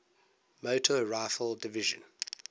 motor rifle division